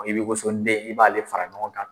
I b'i woso nden i b'ale fara ɲɔgɔn kan.